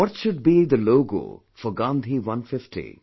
What should be the logo for 'Gandhi 150'